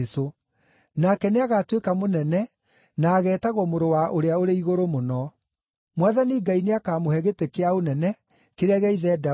Nake nĩagatuĩka mũnene na ageetagwo Mũrũ-wa-Ũrĩa-ũrĩ-Igũrũ-Mũno. Mwathani Ngai nĩakamũhe gĩtĩ kĩa ũnene kĩrĩa gĩa ithe Daudi,